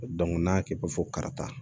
n'a kɛ bɛ fɔ kata